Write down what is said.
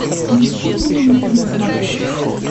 включи мне мир на смотрешке